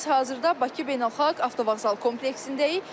Biz hazırda Bakı Beynəlxalq Avtovağzal kompleksindəyik.